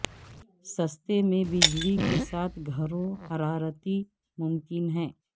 سستے میں بجلی کے ساتھ گھروں حرارتی ممکن ہے